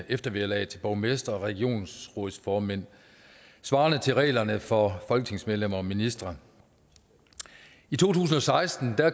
eftervederlaget til borgmestre og regionsrådsformænd svarende til reglerne for folketingsmedlemmer og ministre i to tusind og seksten